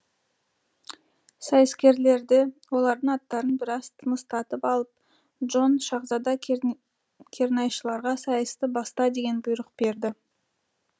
сайыскерлерді олардың аттарын біраз тыныстатып алып джон шаһзада кернайшыларға сайысты баста деген бұйрық берді